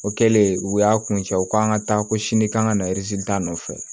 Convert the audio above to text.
O kɛlen u y'a kun cɛ u k'an ka taa ko sini k'an ka na ta nɔfɛ